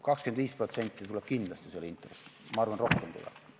25% tuleb kindlasti selle intress, ma arvan, et rohkemgi tuleb.